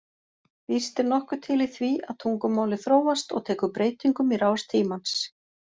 Víst er nokkuð til í því að tungumálið þróast og tekur breytingum í rás tímans.